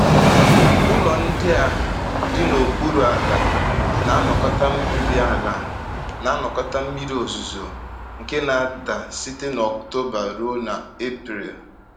Ụlọ ndị a dị n’okpuru ala na-anakọta mmiri ala na-anakọta mmiri ozuzo nke na-ada site n’Ọktoba ruo n’Epril.